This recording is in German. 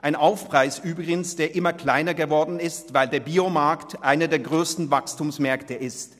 Ein Aufpreis übrigens, der immer kleiner geworden ist, weil der Bio-Markt einer der grössten Wachstumsmärkte ist.